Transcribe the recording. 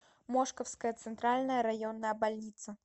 мошковская центральная районная больница